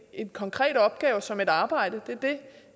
en konkret opgave som et arbejde det er det